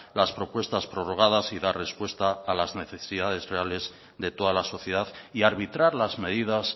las propuestas prorrogadas y dar respuesta a las necesidades reales de toda la sociedad y arbitrar las medidas